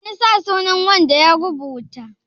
an sa sunan wanda ya rubuta?